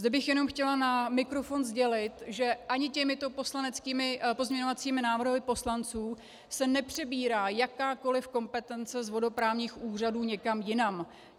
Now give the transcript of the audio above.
Zde bych jenom chtěla na mikrofon sdělit, že ani těmito pozměňovacími návrhy poslanců se nepřebírá jakákoli kompetence z vodoprávních úřadů někam jinam.